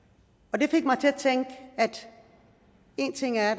det fik mig til at tænke én ting er